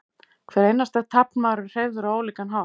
hver einasti taflmaður er hreyfður á ólíkan hátt